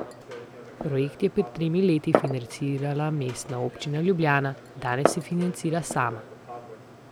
Projekt je pred tremi leti financirala Mestna občina Ljubljana, danes se financira sam.